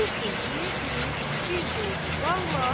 Bir söz deyirdi, bir deyirdi vallah,